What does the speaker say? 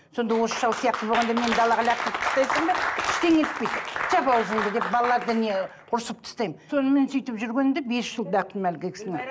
сонда осы шал сияқты болғанда мені далаға лақтырып тастайсың ба ештеңе етпейді жап ауызыңды деп балаларды не ұрысып тастаймын сонымен сөйтіп жүргенде бес жыл бақтым әлгі кісіні